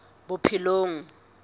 bophelong